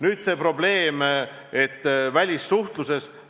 Nüüd see välissuhtluse probleem.